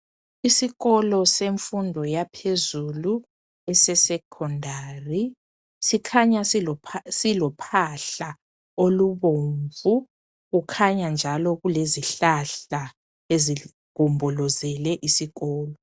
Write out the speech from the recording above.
Isikolo semfundo yaphezulu ese secondary sikhanya silophahla olubomvu. Kukhanya njalo kulezihlahla ezigombolozele isikolo